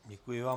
Děkuji vám.